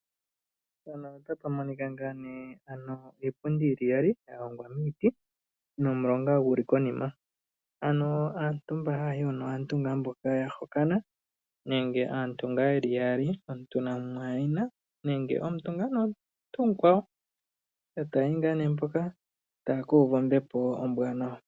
Iipundi yalongwa miiti nomulonga guli konima. Aantu mboka haya yi hoka aantu mboka yahokana nenge omuntu namwayina nenge aantu yeli yaali taya yi hoka yekuuve ombepo ombwaanawa.